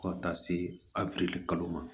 Fo ka taa se a kalo ma